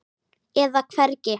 eða hvergi.